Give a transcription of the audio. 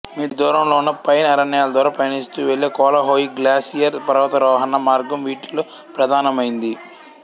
మీ దూరంలో ఉన్న పైన్ అరణ్యాల ద్వారా పయనిస్తూ వెళ్ళే కోలహోయి గ్లాసియర్ పర్వతారోహణా మార్గం వీటిలో ప్రధానమైంది